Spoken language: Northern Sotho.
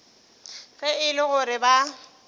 ge e le gore ba